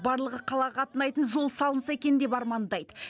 барлығы қалаға қатынайтын жол салынса екен деп армандайды